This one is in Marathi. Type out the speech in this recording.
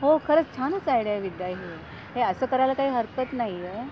हो खरच छानच आयडिया आहे विद्या ही. हे असं करायला काही हरकत नाही ये